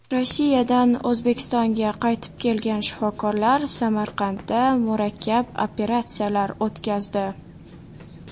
Rossiyadan O‘zbekistonga qaytib kelgan shifokorlar Samarqandda murakkab operatsiyalar o‘tkazdi.